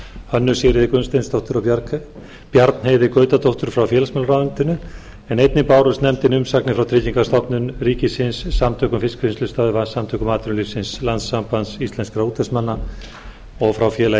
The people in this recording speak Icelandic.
hönnu sigríði gunnsteinsdóttur og bjarnheiði gautadóttur frá félagsmálaráðuneyti einnig bárust nefndinni umsagnir frá tryggingastofnun ríkisins samtökum fiskvinnslustöðva samtökum atvinnulífsins landssambandi íslenskra útvegsmanna og félagi